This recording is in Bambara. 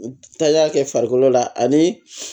Taaya kɛ farikolo la ani